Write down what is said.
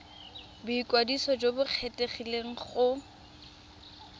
boikwadiso jo bo kgethegileng go